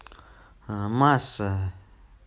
масса